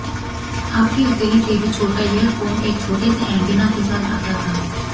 आपकी हथेली से भी छोटा यह फोन एक छोटे से ऐन्टेना के साथ आता था